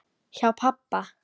Hjá pabba